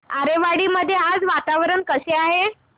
आरेवाडी मध्ये आज वातावरण कसे आहे